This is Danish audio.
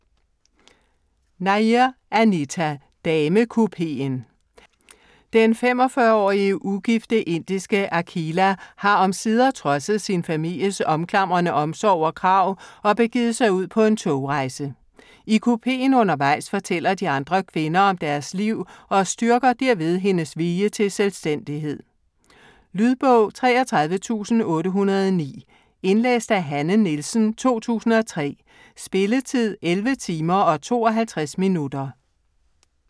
Nair, Anita: Damekupeen Den 45-årige ugifte indiske Akhila har omsider trodset sin families omklamrende omsorg og krav, og begivet sig ud på en togrejse. I kupeen undervejs fortæller de andre kvinder om deres liv, og styrker derved hendes vilje til selvstændighed. Lydbog 33809 Indlæst af Hanne Nielsen, 2003. Spilletid: 11 timer, 52 minutter.